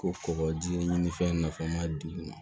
Ko kɔkɔji ɲini fɛn na fɛn ma di u ma